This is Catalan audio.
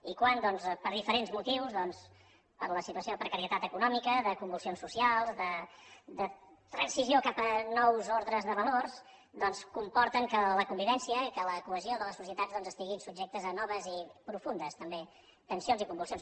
i quan doncs per diferents motius per la situació de precarietat econòmica de convulsions socials de transició cap a nous ordres de valors doncs comporten que la convivència i que la cohesió de les societats estiguin subjectes a noves i profundes també tensions i convulsions